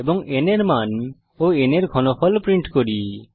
এবং n এর মান ও n এর ঘনফল প্রিন্ট করি